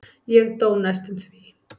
Ég dó næstum því.